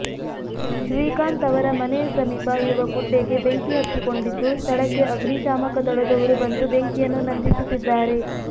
ಶ್ರೀಕಾಂತ್ ಅವರ ಮನೆಯ ಸಮೀಪ ಇರುವ ಗುಡ್ಡೆಗೆ ಬೆಂಕಿ ಹತ್ತಿ ಕೊಂಡಿದ್ದು ಸ್ಥಳಕ್ಕೆ ಅಗ್ನಿಶಾಮಕದಳದವರು ಬಂದು ಬೆಂಕಿಯನ್ನು ನಂದಿಸುತ್ತಿದ್ದಾರೆ